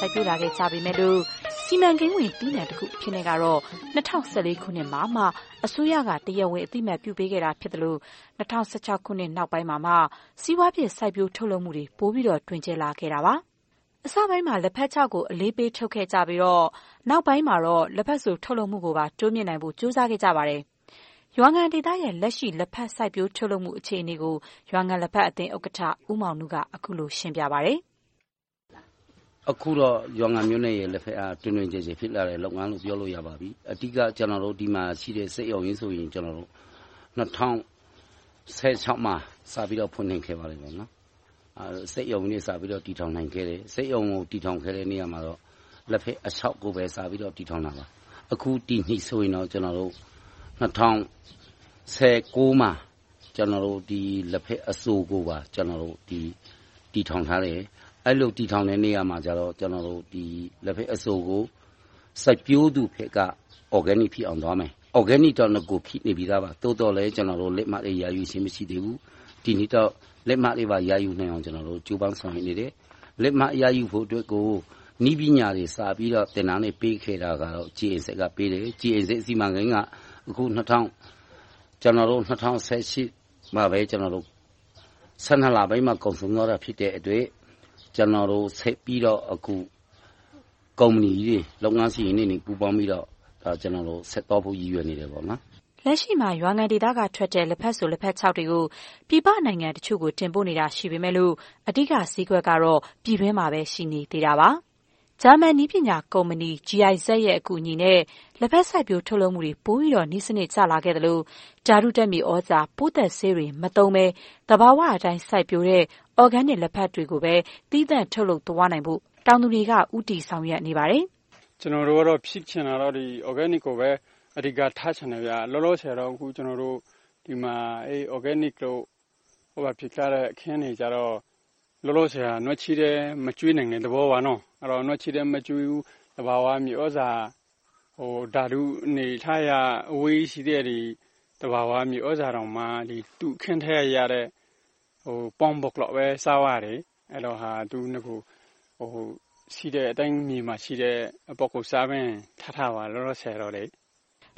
စိုက်ပျိုးလာခဲ့ကြပေမယ့်လို့ စီမံကိန်းဝင် သီးနံှတခုအနေနဲ့တော့ ၂၀၁၄ ခုနှစ်မှာမှ အစိုးရက တရားဝင်အသိအမှတ်ပြုပေးခဲ့တာ ဖြစ်သလို၊ ၂၀၁၆ နောက်ပိုင်းမှာမှ စီးပွားဖြစ် စိုက်ပျိုးထုတ်လုပ်မှုတွေ ပိုပြီးတော့ တွင်ကျယ်လာခဲ့တာပါ။ အစပိုင်းမှာ လက်ဖက်ခြောက်ကို အလေးပေး ထုတ်ခဲ့ကြပြီးတော့၊ နောက်ပိုင်းမှာ လက်ဘက်စို ထုတ်လုပ်မှုကိုပါ တိုးမြှင့်နိုင်ဖို့ ကြိုးစားခဲ့ကြပါတယ်။ ရွာငံဒေသရဲ့ လက်ရှိ လက်ဖက် စိုက်ပျိုးထုတ်လုပ်မှုအခြေအနေကို ရွာငံလက်ဖက်အသင်း ဥက္ကဋ္ဌ ဦးမောင်နု က အခုလို ရှင်းပြပါတယ်။ အခုတော့ ရွာငံမြို့နယ်ရဲ့ လက်ဖက်ထုတ်လုပ်မှုက တွင်တွင်ကျယ်ကျယ် ဖြစ်လာတဲ့လုပ်ငန်းလို့ ပြောလို့ရပါပြီ။ အဓိက ဒီမှာရှိတဲ့ စက်ရုံကြီးဆိုရင် ၂၀၁၆ မှာ စတင်ပြီးတော့ ဖွင့်လှစ်ခဲ့ပါတယ်။ စက်ရုံကို တည်ထောင်ခဲ့တဲ့နေရာမှာတော့ လက်ဖက်အခြောက်ကိုပဲ စတင်ပြီးတော့ တည်ထောင်တာပါ။ အခုဒီနှစ် ၂၀၁၉ မှာ လက်ဖက်အစိုစက်ရုံကိုပါ တည်ထောင်ထားတယ်။ အဲဒီလို တည်ထောင်တဲ့နေရာမှာ လက်ဖက်အစိုကို စိုက်ပျိုးသူဘက်က အော်ဂင်းနစ် ဖြစ်အောင်သွားမယ်။ အော်ဂင်းနစ်က နဂိုကတည်းက ဖြစ်နေပြီသားပါ။ သို့သော် ကျနော်တို့ လက်မှတ်လည်း ရယူထားခြင်း မရှိသေးဘူး။ ဒီနှစ်တော့ လက်မှတ်ရယူနိုင်အောင် ကြိုးပမ်းဆောင်ရွက်နေတယ်။ လက်မှတ်ရယူဖို့အတွက် နည်းပညာတွေ စပြီးတော့ သင်တန်းတွေပေးခဲ့တာ -- စီမံကိန်းကပေးတယ်။ - စီမံကိန်းက အခု ၂၀၁၈ လပိုင်းမှ ကုန်ဆုံးသွားတာ ဖြစ်တဲ့အတွက် ဆက်ပြီးတော့ ကုမ္ပဏီကြီးတွေ၊ လုပ်ငန်းရှင်ကြီးတွေ ပူးပေါင်းပြီးတော့ ဆက်သွားဖို့ ရည်ရွယ်နေတယ်။ လက်ရှိမှာ ရွာငံဒေသကထွက်တဲ့ လက်ဖက်စို၊ လက်ဖက်ခြောက်တွေကို ပြည်ပနိုင်ငံတချို့ကို တင်ပို့နေတာ ရှိနေပေမယ့် အဓိကဈေးကွက်ကတော့ ပြည်တွင်းမှာပဲ ရှိနေသေးတာပါ။ ဂျာမန်နည်းပညာကုမ္ပဏီ GIZ ရဲ့ အကူအညီနဲ့ လက်ဖက်စိုက်ပျိုးထုတ်လုပ်မှုတွေ ပိုပြီးတော့ နည်းစနစ်ပိုကျလာသလို၊ ဓာတုဓါတ်မြေသြဇာ၊ ပိုးသတ်ဆေးတွေ မသုံးဘဲ သဘာဝအတိုင်း စိုက်ပျိုးတဲ့ အော်ဂင်းနစ်လက်ဖက်တွေကိုပဲ သီးသန့်ထုတ်လုပ်သွားနိုင်ဖို့ တောင်သူတွေက ဦးတည်ဆောင်ရွက်နေပါတယ်။ ကျနော်တို့ကတော့ ဖြစ်ချင်တာကတော့ အော်ဂင်းနစ်ကိုပဲ အဓိကထားချင်တယ်။ လောလောဆယ်တော့ ဒီမှာ အော်ဂင်းနစ် ဖြစ်ကြတဲ့ စိုက်ခင်းတွေကတော့ လောလောဆယ် နွားချေးပဲ မကျွေးနိုင်တဲ့သဘော။ နွားချေးလည်း မကျွေးဘူး၊ သဘာဝမြေသြဇာ ဓာတုဆေးက အဝေးကြီး။ သဘာဝမြေသြဇာတောင် သူ့စိုက်ခင်းထဲကရတဲ့ -- ရှိတဲ့အတိုင်း မြေအတိုင်းထားပါတယ်။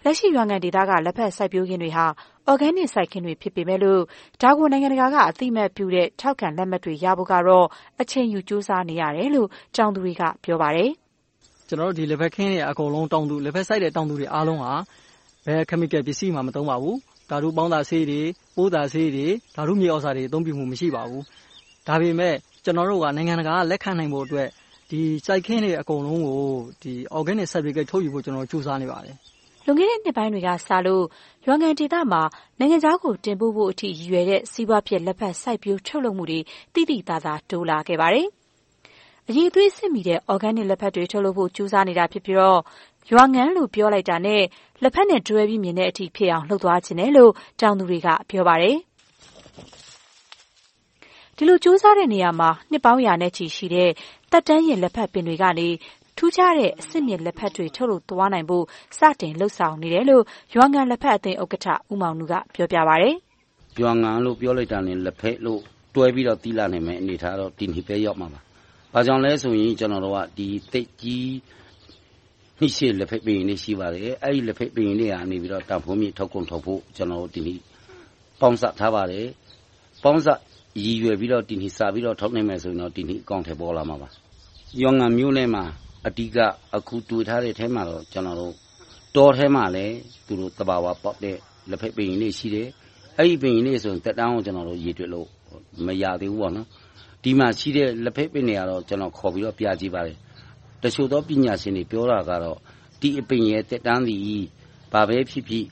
လက်ရှိ ရွာငံဒေသက လက်ဖက်စိုက်ခင်းတွေဟာ အော်ဂင်းနစ်စိုက်ခင်းတွေ ဖြစ်ပေမယ့်လို့ ဒါကို နိုင်ငံတကာက အသိအမှတ်ပြုတဲ့ ထောက်ခံလက်မှတ်တွေ ရဖို့ကတော့ အချိန်ယူကြိုးစားနေရတယ်လို့ တောင်သူတွေက ပြောပါတယ်။ ကျနော်တို့ ဒီလက်ဖက်ခင်းတွေက တောင်သူတွေက ဓာတုပစ္စည်းတွေ မသုံးပါဘူး။ ဓာတုပေါင်းစပ်ဆေးတွေ၊ ပိုးသတ်ဆေးတွေ၊ ဓာတုမြေသြဇာတွေ သုံးလေ့မရှိပါဘူး။ ဒါပေမဲ့ ကျနော်တို့က နိုင်ငံတကာက လက်ခံနိုင်ဖို့အတွက် စိုက်ခင်းတွေ အကုန်လုံးကို အော်ဂင်းနစ်လက်မှတ် ထုတ်ယူဖို့အတွက် ကြိုးစားနေပါတယ်။ လွန်ခဲ့တဲ့ နှစ်ပိုင်းတွေကစလို့ ရွာငံဒေသမှာ နိုင်ငံခြားကို တင်ပို့ဖို့အထိ ရည်ရွယ်တဲ့ စီးပွားဖြစ် လက်ဖက်စိုက်ပျိုးထုတ်လုပ်မှုတွေ သိသိသာသာ တိုးလာခဲ့ပါတယ်။ အရည်အသွေးစစ်မီတဲ့ အော်ဂင်းနစ်လက်ဖက်တွေ ထုတ်လုပ်ဖို့ ကြိုးစားနေတာ ဖြစ်ပြီးတော့ ရွာငံလို့ ပြောလိုက်တာနဲ့ လက်ဖက်နဲ့တွဲပြီးမြင်အောင် လုပ်သွားချင်တယ်လို့ တောင်သူတွေက ပြောပါတယ်။ ဒီလိုကြိုးစားတဲ့နေရာမှာ နှစ်ပေါင်းရာနဲ့ချီရှိတဲ့ သက်တမ်းရင့်လက်ဖက်တွေကနေ ထူးခြားတဲ့ အဆင့်မြင့်လက်ဖက်တွေ ထုတ်လုပ်သွားနိုင်ဖို့ စတင်လုပ်ဆောင်နေတယ်လို့ ရွာငံလက်ဖက်အသင်းဥက္ကဋ္ဌ ဦးမောင်နုက ပြောပြပါတယ်။ ရွာငံလို့ ပြောလိုက်တာနဲ့ လက်ဖက်လို့ တွဲပြီးတော့ သိလာနိုင်တဲ့ အနေအထားတော့ ဒီနှစ်ထဲမှာ ရောက်မှာပါ။ ဘာကြောင့်လဲဆိုရင် ကျနော်တို့က သက်ကြီးနှစ်ရှည် လက်ဖက်ပင်တွေ ရှိပါတယ်။ အဲဒီလက်ဖက်ပင်ကြီးတွေကနေ တန်းဖိုးမြင့်ထုတ်ကုန်ထုတ်ဖို့ ပေါင်းစပ်ထားပါတယ်။ ပေါင်းစပ်ကို ဒီနှစ်ထဲမှာ စပြီးထုတ်နိုင်မယ်ဆိုရင်တော့ ဒီနှစ်ထဲမှာ အကောင်အထည်ပေါ်လာမှာပါ။ ရွာငံမြို့ထဲမှာ အဓိက တွေ့ထားတာကတော့ တောထဲမှာလည်း သဘာဝပေါက်တဲ့ လက်ဖက်ပင်ကြီးတွေရှိတယ်။ အဲဒီအပင်ကြီးတွေဆိုရင် ကျနော်တို့အခုထိ သက်တမ်းကို ရေတွက်လို့ မရသေးဘူး။ ဒီမှာရှိတဲ့ လက်ဖက်ပင်တွေကတော့ ခေါ်ပြီးတော့ ပြကြည့်ပါတယ်။ တချို့သောပညာရှင်တွေ ပြောတာကတော့ ဒီအပင်ရဲ့ သက်တမ်းသည် ဘာပဲဖြစ်ဖြစ်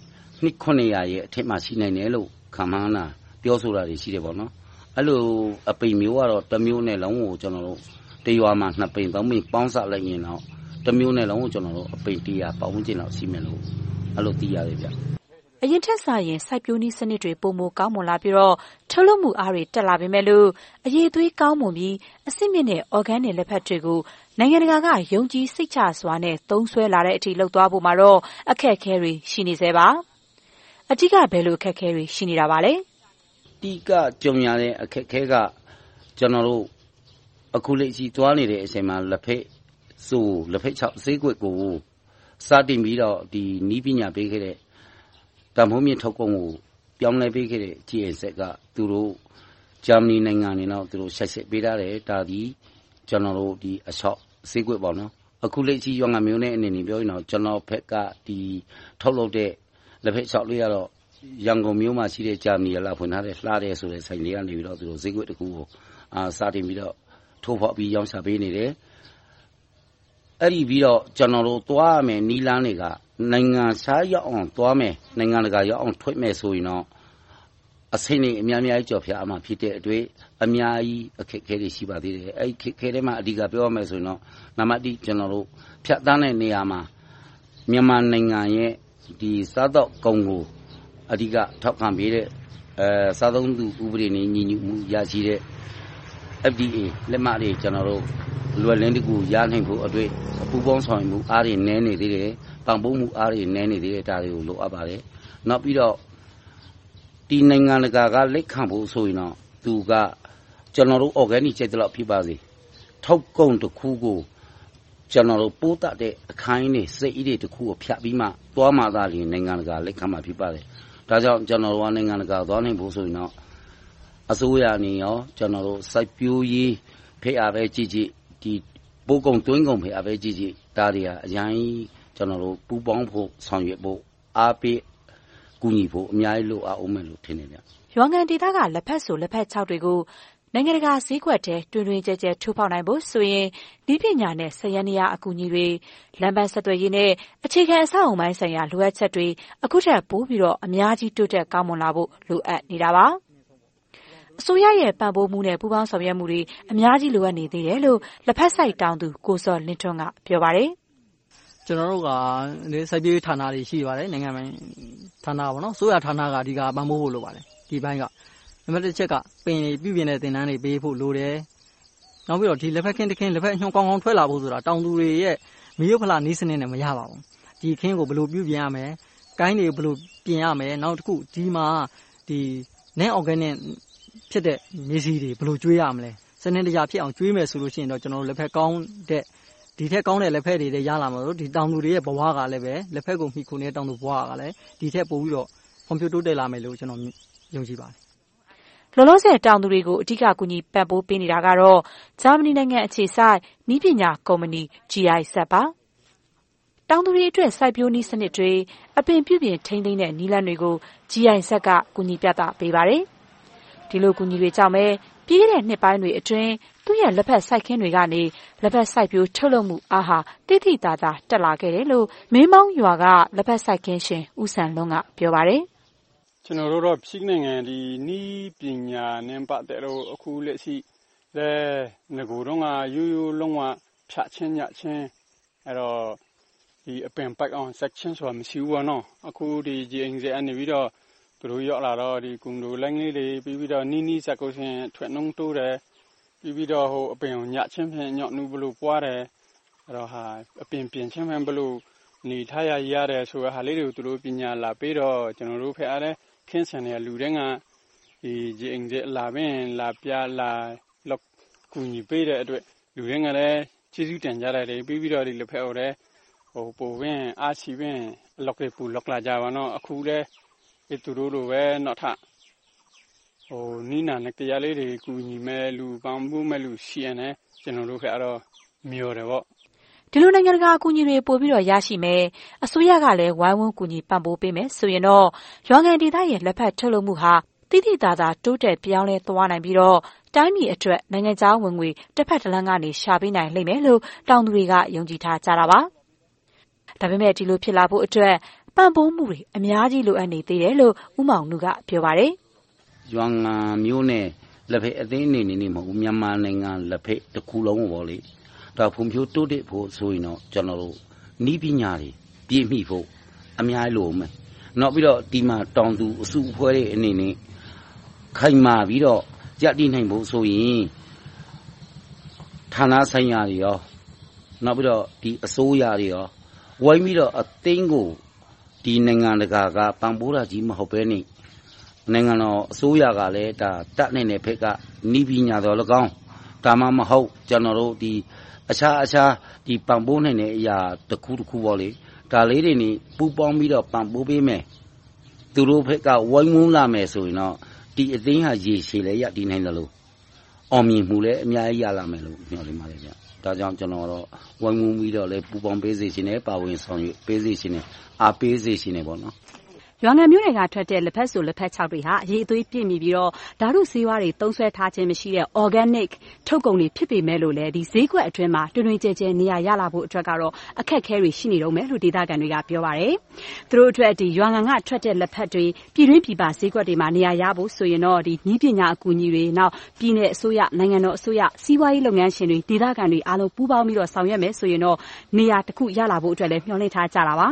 နှစ် ရဲ့ အထက်မှာ ရှိနိုင်တယ်လို့ ခန့်မှန်းတာ ပြောဆိုတာတွေ ရှိပါတယ်။ အဲဒီလို အပင်မျိုးကတော့ တမြို့နယ်လုံးမှာ တရွာကို နှစ်ပင်သုံးပင် ပေါင်းစပ်လိုက်ရင်တော့ တမြို့နယ်လုံး အပင်တစ်ရာလောက် ရှိမယ်လို့ သိရတယ်။ အရင်ထက်စာရင် စိုက်ပျိုးနည်းစနစ်တွေ ပိုမိုကောင်းမွန်လာပြီးတော့ ထုတ်လုပ်မှုအားတွေ တက်လာပေမယ့်လို့ အရည်အသွေးကောင်းမွန်ပြီး အဆင့်မြင့်တဲ့ အော်ဂင်းနစ် လက်ဖက်တွေကို နိုင်ငံတကာက ယုံကြည်စိတ်ချစွာနဲ့ သုံးစွဲလာဖို့အထိ လုပ်သွားဖို့မှာတော့ အခက်အခဲတွေ ရှိနေဆဲပါ။ အဓိက ဘယ်လိုအခက်အခဲတွေ ရှိနေပါလဲ။ အဓိကကြုံရတဲ့ အခက်အခဲက ကျနော်တို့ အခုလက်ရှိသွားနေတဲ့အချိန်မှာ လက်ဖက်စို၊ လက်ဖက်ခြောက် ဈေးကွက်ကို စတင်ပြီးတော့ နည်းပညာပေးခဲ့တဲ့ တန်းဖိုးမြှင့်ထုတ်ကုန်ကို ပြောင်းလဲပေးခဲ့တဲ့ GIZ က သူတို့ဂျာမဏီနိုင်ငံကိုတော့ ဆက်စပ်ပေးထားတယ်။ အခုလက်ရှိ ရွာငံမြို့အနေနဲ့ ပြောရင်တော့ အနောက်ဘက်က ထုတ်လုပ်တဲ့ လက်ဖက်ခြောက်တွေကတော့ ရန်ကုန်မြို့မှာရှိတဲ့ ဂျာမဏီကဖွင့်ထားတဲ့ ‘လှတယ်’ ဆိုတဲ့ ဆိုင်ကနေ ဈေးကွက်တခုကို စတင်ပြီးတော့ ထိုးဖောက်ပြီးရောင်းချပေးနေတယ်။ အဲဒီနောက် ကျနော်တို့သွားရမယ့် နည်းလမ်းတွေကတော့ နိုင်ငံခြားရောက်အောင်သွားမယ်။ နိုင်ငံတကာရောက်အောင်ထွက်မယ် ဆိုရင်တောင် အချိန်တွေ အများကြီးကျော်ဖြတ်ရအုံးမှာ ဖြစ်တဲ့အတွက် အများကြီးအခက်အခဲတွေ ရှိပါသေးတယ်။ အခက်အခဲထဲမှာ အဓိကပြောရရင်တော့ နံပတ်တစ် ဖြတ်သန်းတဲ့နေရာမှာ မြန်မာနိုင်ငံရဲ့ စားသောက်ကုန်ကို အဓိကထောက်ခံပေးတဲ့ စားသုံးသူဥပဒေနဲ့ ညီညွှတ်မှုရရှိတဲ့ FDA လက်မှတ်တွေ လွယ်လင့်တကူ ရနိုင်ဖို့အတွက် ပူးပေါင်းဆောင်ရွက်မှုအားတွေ နည်းနေသေးတယ်။ ပံ့ပိုးမှုအားတွေ နည်းနေသေးတယ်။ ဒါတွေ လိုအပ်ပါတယ်။ နောက်ပြီးတော့ နိုင်ငံတကာက လက်ခံဖို့ဆိုရင်တောင် သူက ကျနော်တို့ အော်ဂင်းနစ် ကြိုက်သလောက် ဖြစ်ပါစေ ထုတ်ကုန်တခုက ပိုးသတ်တဲ့အခန်းကြီးတွေ၊ စက်ကြီးတွေကို ဖြတ်ပြီးမှသွားမှသာ နိုင်ငံတကာက လက်ခံမှာ ဖြစ်ပါတယ်။ ဒါကြောင့် ကျနော်တို့ နိုင်ငံတကာသွားနိုင်ဖို့ဆိုရင်တော့ အစိုးရအနေနဲ့ စိုက်ပျိုးရေးဘက်ကကြည့်ကြည့်၊ ပို့ကုန်သွင်းကုန်ဘက်ကကြည့်ကြည့် ဒါတွေဟာ ပူးပေါင်းဖို့ ဆောင်ရွက်ဖို့ အားပေးကူညီဖို့ အများကြီး လိုအပ်အုံးမယ်လို့ ထင်ပါတယ်။ ရွာငံဒေသက လက်ဖက်စို၊ လက်ဖက်ခြောက်တွေကို နိုင်ငံတကာဈေးကွက်ထဲ တွင်တွင်ကျယ်ကျယ် ထိုးဖောက်နိုင်ဖို့ဆိုရင် နည်းပညာနဲ့ စက်ယန္တရား အကူအညီတွေ လမ်းပန်းဆက်သွယ်ရေးနဲ့ အခြေခံအဆောက်အအုံပိုင်းဆိုင်ရာ လိုအပ်ချက်တွေ အခုထက်ပိုပြီးတော့ အများကြီးတိုးတက်ကောင်းမွန်လာဖို့ လိုအပ်နေတာပါ။ အစိုးရနဲ့ ပံ့ပိုးမှုနဲ့ ပူးပေါင်းဆောင်ရွက်မှုတွေ အများကြီးလိုအပ်နေသေးတယ်လို့ လက်ဖက်စိုက်တောင်သူ ကိုဇော်လင်းထွန်းက ပြောပါတယ်။ ကျနော်တို့မှာ စိုက်ပျိုးရေးဌာနတွေ ရှိပါတယ်။ နိုင်ငံပိုင် အစိုးရဌာနက အဓိကပံ့ပိုးဖို့ လိုပါတယ်။ နံပတ်တစ်အချက်က အပင်ရည်ပြုပြင်မှုသင်တန်းတွေ ပေးဖို့လိုတယ်။ နောက်ပြီးတော့ လက်ဖက်နှုန်းကောင်းကောင်း ထွက်လာဖို့က တောင်သူတွေရဲ့ မိရိုးဖလာနည်းစနစ်နဲ့ မရပါဘူး။ ဒီစိုက်ခင်းကို ဘယ်လိုပြုပြင်ရမယ်။ ကိုင်းတွေကို ဘယ်လိုပြုပြင်ရမယ်။ နောက်တခု ဒီမှာ အော်ဂင်းနစ်ဖြစ်မယ့် မြေဆီတွေကို ဘယ်လိုကျွေးမလဲ။ စနစ်တကျဖြစ်အောင် ကျွေးမယ်ဆိုရင်တော့ ဒီထက်ကောင်းတဲ့ လက်ဖက်တွေလည်း ရလာပြီး၊ တောင်သူတွေရဲ့ ဘဝက ဒီထက်ပိုပြီးတော့ ဖွံ့ဖြိုးတိုးတက်လာမယ်လို့ ယုံကြည်ပါတယ်။ လောလောဆယ် တောင်သူတွေကို ကူညီပံ့ပိုးနေတာကတော့ ဂျာမဏီနိုင်ငံအခြေစိုက် နည်းပညာကုမ္ပဏီ GIZ ပါ။ တောင်သူတွေအတွက် စိုက်ပျိုးနည်းစနစ်တွေ၊ အပင်ပြုပြင်ထိန်းသိမ်းတဲ့ နည်းလမ်းတွေကို GIZ က ကူညီပြသပေးပါတယ်။ ဒီလိုအကူအညီတွေကြောင့်ပဲ ပြီးခဲ့တဲ့နှစ်ပိုင်းအတွင်း သူ့ရဲ့လက်ဖက်စိုက်ခင်းတွေကနေ လက်ဖက်စိုက်ပျိုးထုတ်လုပ်မှုအားဟာ သိသိသာသာ တက်လာခဲ့တယ်လို့ ထမင်းပေါင်းရွာက လက်ဖက်စိုက်ခင်းရှင် ဦးစံလွန်း က ပြောပါတယ်။ ကျနော်တို့ကတော့ ဖြစ်နိုင်ရင် နည်းပညာနဲ့ ပတ်သက်လို့ အခုလက်ရှိ နဂိုတုန်းကထက် ရိုးရိုးလုံးဝ ဖြတ်ခြင်း၊ ညှပ်ခြင်း အပင်.. စိုက်ခြင်းမရှိဘူး။ အခု GIZ က ရောက်လာပြီး သင်ပေးလို့ အထွက်နှုန်းတိုးတယ်။ အပင်ကို ဘယ်လိုညှပ်ရင် အညွန့်နုဘယ်လိုပွားတယ်။ အပင်ပြင်ခြင်းကို ဘယ်လိုနည်းနဲ့ ရတယ်ဆိုတာကို သင်ကြားပေးလို့ ကျနော်တို့ စိုက်ခင်းရှင်တွေက GIZ လာပြီး ပြသပေးတဲ့အတွက် လူတိုင်းက ကျေးဇူးတင်ကြတယ်။ ပြီးတော့ အားရှိပြီး လက်ဖက်ပိုစိုက်လာကြတယ်။ အခုလဲ သူတို့လိုပဲ နောက်ထပ်နည်းနာတွေ ကူညီမယ့်လူ၊ ပံ့ပိုးမယ့်လူ ရှိရင်လည်း ကျနော်တို့ဘက်က မျှော်တယ်။ ဒီလိုနိုင်ငံတကာ အကူအညီတွေ ပိုပြီးတော့ ရရှိမယ်။ အစိုးရကလည်း ဝိုင်းဝန်းကူညီပံ့ပိုးပေးမယ်ဆိုရင်တော့ ရွာငံဒေသရဲ့ လက်ဖက်ထုတ်လုပ်မှုဟာ သိသိသာသာ ပြောင်းလဲသွားနိုင်ပြီးတော့ တိုင်းပြည်အတွက် နိုင်ငံခြားဝင်ငွေ တဘက်တလမ်းကနေ ရှာပေးနိုင်လိမ့်မယ်လို့ တောင်သူတွေက ယုံကြည်ထားကြတာပါ။ ဒါပေမဲ့ ဒီလိုဖြစ်လာဖို့အတွက် ပံ့ပိုးမှုတွေ အများကြီးလိုအပ်နေသေးတယ်လို့ ဦးမောင်နု က ပြောပါတယ်။ ရွာငံမြို့နဲ့ လက်ဖက်အသင်းအနေနဲ့ မဟုတ်ဘူး၊ မြန်မာနိုင်ငံလက်ဖက်တခုလုံးကို ဖွံ့ဖြိုးတိုးတက်ဖို့ဆိုရင်တော့ ကျနော်တို့ နည်းပညာတွေ ပြည့်မီဖို့ အများကြီးလိုအုံးမယ်။ နောက်ပြီးတော့ ဒီမှာ တောင်သူအစုအဖွဲ့တွေ အနေနဲ့ ခိုင်မာပြီးတော့ ရပ်တည်နိုင်ဖို့ဆိုရင် ဌာနဆိုင်ရာတွေ၊ အစိုးရတို့ ဝိုင်းပြီးတော့ အသင်းကို နိုင်ငံတကာက ပံ့ပိုးတာပဲ မဟုတ်ဘဲနဲ့ နိုင်ငံတော်အစိုးရကလည်း တတ်နိုင်တဲ့ဘက်က နည်းပညာသော်လည်းကောင်း၊ ဒါမှမဟုတ် အခြားသောပံ့ပိုးနိုင်တဲ့အရာတခုခုကို ပူးပေါင်းပြီးတော့ ပံ့ပိုးပေးမယ်။ သူတို့ဘက်က ဝိုင်းဝန်းလာမယ်ဆိုရင်တော့ ဒီအသင်းက ရေရှည်ရပ်တည်နိုင်သလို၊ အောင်မြင်မှုလည်း အများကြီးရလာမယ်လို့ မျှော်လင့်ပါတယ်။ ဒါကြောင့် ဝိုင်းဝန်းပြီးတော့ ပူးပေါင်းစေချင်တယ်၊ ပါဝင်ပေးစေချင်တယ်၊ အားပေးစေချင်တယ်။ ရွာငံမြို့ကထွက်တဲ့ လက်ဖက်စို၊ လက်ဖက်ခြောက်တွေက အရည်အသွေး ပြည့်မီပြီးတော့ ဓါတုဆေးဝါးတွေ သုံးစွဲထားခြင်းမရှိတဲ့ အော်ဂင်းနစ် ထုတ်ကုန်တွေ ဖြစ်ပေမယ့်လို့လဲ ဈေးကွက်အတွင်းမှာ တွင်တွင်ကျယ်ကျယ် နေရာရလာဖို့အတွက်ကတော့ အခက်အခဲတွေ ရှိနေသေးတယ်လို့ ဒေသခံတွေက ပြောပါတယ်။ သူတို့အတွက် ရွာငံကထွက်တဲ့ လက်ဖက်တွေ ပြည်တွင်းပြည်ပဈေးကွက်တွေမှာ နေရာရဖို့ဆိုရင်တော့ နည်းပညာ အကူအညီတွေ၊ ပြည်နယ်အစိုးရ၊ နိုင်ငံတော်အစိုးရ၊ စီးပွားရေးလုပ်ငန်းရှင်တွေ၊ ဒေသခံတွေအားလုံး ပူးပေါင်းပြီးတော့ လုပ်ကြမယ်ဆိုရင်တော့ နေရာတခု ရလာဖို့လည်း မျှော်လင့်ထားကြပါ